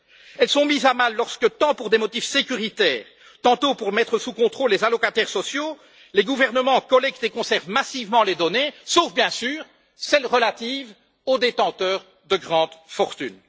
Elles sont mises à mal lorsque, tant pour des motifs sécuritaires que pour mettre sous contrôle les allocataires sociaux, les gouvernements collectent et conservent massivement les données, sauf bien sûr celles relatives aux détenteurs de grandes fortunes.